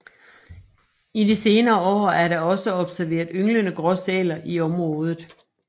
I de senere år er der også observeret ynglende gråsæler i området